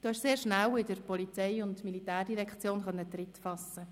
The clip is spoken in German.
Du konntest in der POM sehr schnell Tritt fassen.